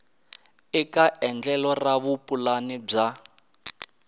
eka endlelo ra vupulani bya